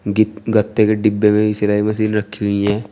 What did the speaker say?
गी गते के डिब्बे में भी सिलाई मशीन रखी हुई है।